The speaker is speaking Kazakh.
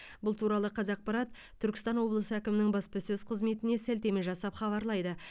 бұл туралы қазақпарат түркістан облысы әкімінің баспасөз қызметіне сілтеме жасап хабарлайды